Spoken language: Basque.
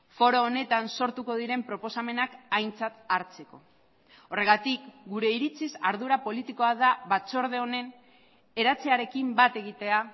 foro honetan sortuko diren proposamenak aintzat hartzeko horregatik gure iritziz ardura politikoa da batzorde honen eratzearekin bat egitea